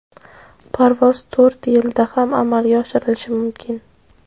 parvoz to‘rt yilda ham amalga oshirilishi mumkin.